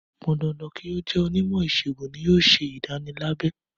Kò pọn dandan kí ó jẹ́ onímọ̀ ìṣègùn ni yóò ṣe ìdánilábẹ.